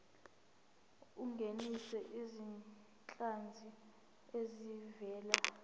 ungenise izinhlanzi ezivela